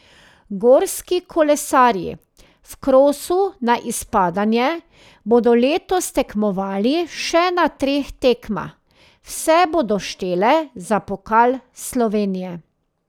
Gorski kolesarji v krosu na izpadanje bodo letos tekmovali še na treh tekmah, vse bodo štele za pokal Slovenije.